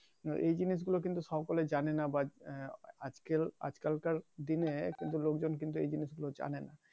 এই জিনিস গুলো কিন্তু সকলে জানেনা but আজকেল আজকাল কার দিনে কিন্তু লোকজন কিন্তু এই জিনিস গুলো জানেনা